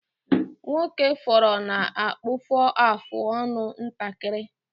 Nwokefọrọ na-akpụfọ afụ ọnụ ntakịrị.